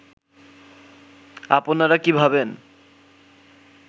আপনারা কী ভাবেন